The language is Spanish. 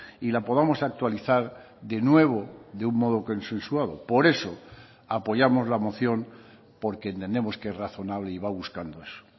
y la podamos actualizar de nuevo de un modo consensuado por eso apoyamos la moción porque entendemos que es razonable y va buscando eso